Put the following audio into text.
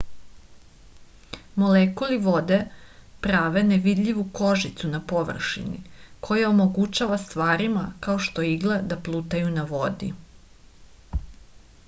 molekuli vode prave nevidljivu kožicu na površini koja omogućava stvarima kao što je igla da plutaju na vodi